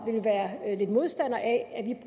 vil modstander af at